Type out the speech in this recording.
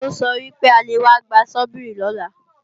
Ó sọ wípé a lè wá gba Sọ́bíìrì lọ́la